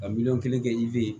Ka miliyɔn kelen kɛ i be yen